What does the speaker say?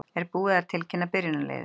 Er búið að tilkynna byrjunarliðið?